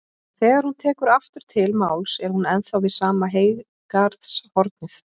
En þegar hún tekur aftur til máls er hún ennþá við sama heygarðshornið.